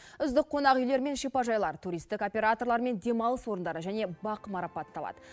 үздік қонақүйлер мен шипажайлар туристік операторлар мен демалыс орындары және бақ марапатталады